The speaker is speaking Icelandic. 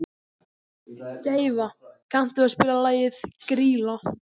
Gæfa, kanntu að spila lagið „Grýla“?